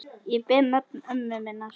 Ég ber nafn ömmu minnar.